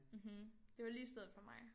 Mhm det var lige stedet for mig